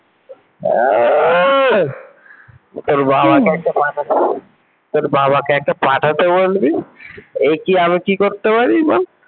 আহ তোর বাবাকে একটা পাঠাতে বল তোর বাবাকে একটা পাঠাতে বলবি এ কি আমি কি করতে পারি বল ।